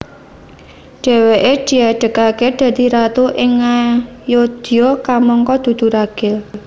Dhèwèké diadegaké dadi ratu ing Ngayodya kamangka dudu ragil